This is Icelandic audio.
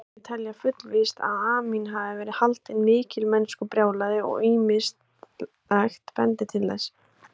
Margir telja fullvíst að Amín hafi verið haldinn mikilmennskubrjálæði og ýmislegt bendir til þess.